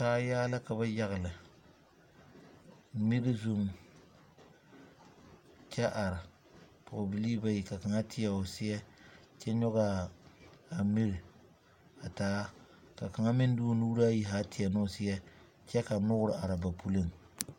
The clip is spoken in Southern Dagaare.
Kaayaa la ka ba yagle mir zu. kyɛ are. Poge bilii bayi ka kang teɛ o seɛ kyɛ yoɔge aa mir a taa. Ka kang meŋ de o nuure ayi zaa teɛ ne o seɛ kyɛ ka nuore are ba puleŋ.